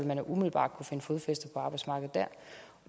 man umiddelbart kunne finde fodfæste på arbejdsmarkedet